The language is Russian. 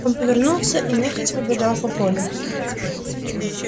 он повернулся и нехотя побежал по полю